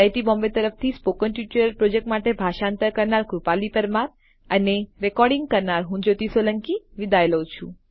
iit Bombay તરફથી spoken tutorial project માટે ભાષાંતર કરનાર હું કૃપાલી પરમાર વિદાય લઉં છું